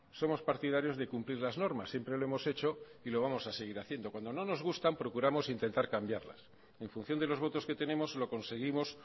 somos partidarios de cumplir las normas siempre lo hemos hecho y lo vamos a seguir haciendo cuando no nos gustan procuramos intentar cambiarlas en función de los votos que tenemos lo conseguimos